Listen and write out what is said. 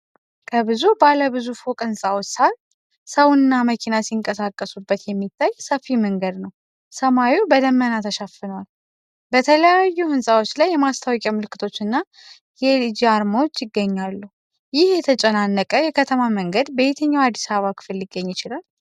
ከብዙ ባለ ብዙ ፎቅ ሕንፃዎች ስር ሰውና መኪና ሲንቀሳቀሱበት የሚታይ ሰፊ መንገድ ነው። ሰማዩ በደመና ተሸፍኗል፤ በተለያዩ ሕንፃዎች ላይ የማስታወቂያ ምልክቶችና የኤልጂ አርማዎች ይገኛሉ:: ይህ የተጨናነቀ የከተማ መንገድ በየትኛው የአዲስ አበባ ክፍል ሊገኝ ይችላል?